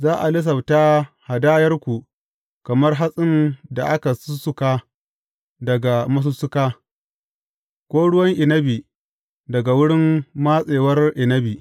Za a lissafta hadayarku kamar hatsin da aka sussuka daga masussuka, ko ruwan inabi daga wurin matsewar inabi.